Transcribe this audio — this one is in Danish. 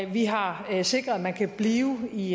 vi har sikret at man kan blive i